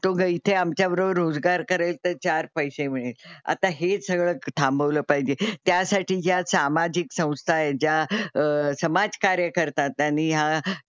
तो गं इथे आमच्याबरोबर रोजगार करेल तर चार पैसे मिळेल. आता हे सगळं थांबवलं पाहिजे. त्यासाठी ज्या सामाजिक संस्था आहे ज्या समाजकार्य करतात आणि या,